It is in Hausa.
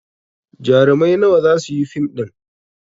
Jarumai nawa za su yi fim ɗin?